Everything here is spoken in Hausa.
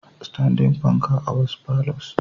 Standing panka a wasu palours.